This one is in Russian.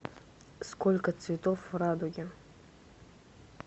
сколько цветов в радуге